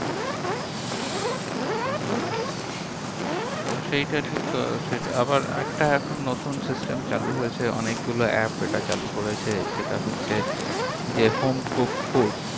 হম হম তো সেইটা ঠিক আহ সেটা আবার আরেকটা এখন নতুন system চালু হয়েছে, অনেকগুলো app এটা চালু করেছে। সেটা হচ্ছে যে home cooked food